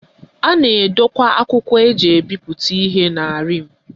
A na-edokwa akwụkwọ eji ebipụta ihe na rim